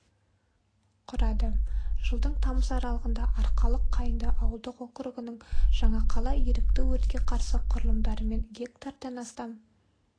құрады жылдың тамыз аралығында арқалық қайынды ауылдық округінің жаңақала ерікті өртке қарсы құрылымдарымен гектардан астам